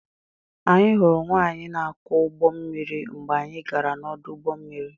Anyị hụrụ nwaanyị na-akwọ ụgbọ mmiri mgbe anyị gara n'ọdụ ụgbọ mmiri.